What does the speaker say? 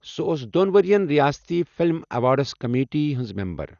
سو٘ ٲس دون ورِین رِیاستی فِلم ایوارڈس كمیٹی ہٕنز میمبر۔